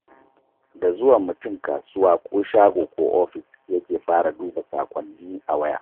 Da zuwan mutum kasuwa ko shago ko ofis yake fara duba saƙonnin a waya.